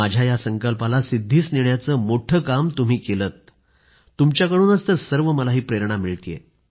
माझ्या या संकल्पाला सिद्धीस नेण्याचं मोठ्ठ काम तुम्ही केलंततुमच्याकडूनच तर मला ही सर्व प्रेरणा मिळाली